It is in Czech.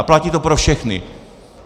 A platí to pro všechny.